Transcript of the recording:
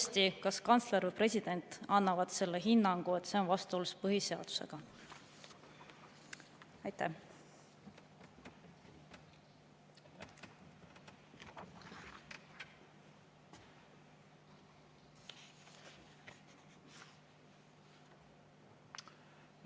… kantsler või president annab selle hinnangu, et see on vastuolus põhiseadusega?